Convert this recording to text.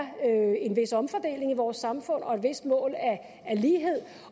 en vis omfordeling i vores samfund og et vist mål af lighed